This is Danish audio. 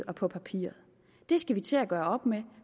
og på papiret det skal vi til at gøre op med